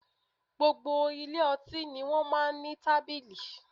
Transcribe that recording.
Gbogbo ilé ọtí ni wọ́n máa ń ní tábìlì